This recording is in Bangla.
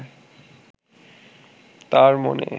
তাঁর মনে